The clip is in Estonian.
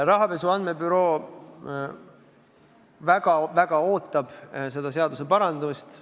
Rahapesu andmebüroo väga ootab seda seadusparandust.